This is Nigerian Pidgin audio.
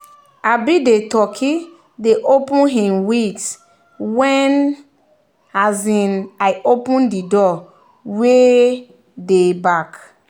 um the turkey dey open him wings when um i open the door wey wey dey back.